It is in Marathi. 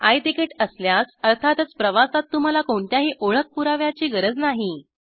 आय तिकीट असल्यास अर्थातच प्रवासात तुम्हाला कोणत्याही ओळख पुराव्याची गरज नाही